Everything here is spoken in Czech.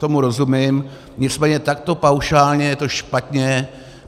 Tomu rozumím, nicméně takto paušálně je to špatně.